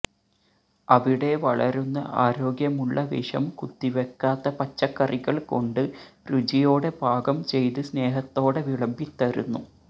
അവിടെ വളരുന്ന ആരോഗ്യമുള്ള വിഷം കുത്തിവെക്കാത്ത പച്ചക്കറികള് കൊണ്ട്് രുചിയോടെ പാകം ചെയ്ത് സ്നേഹത്തോടെ വിളമ്പിത്തരുന്നു